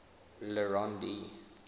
le rond d